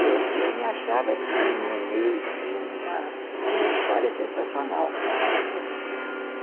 Eu eu me achava, assim, no meio de uma de uma história sensacional